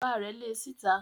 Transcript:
Bàbá rẹ̀ le síta.